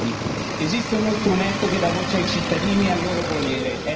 Non si può ignorare la volontà del popolo per scelte così importanti.